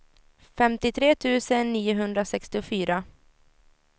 femtiotre tusen niohundrasextiofyra